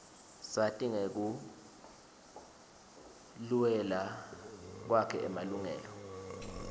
sati ngekuluela kwakhe emalungela